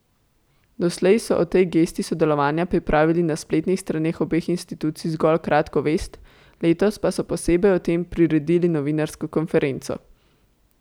Doslej so o tej gesti sodelovanja pripravili na spletnih straneh obeh institucij zgolj kratko vest, letos pa so posebej o tem priredili novinarsko konferenco.